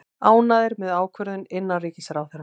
Ánægðir með ákvörðun innanríkisráðherra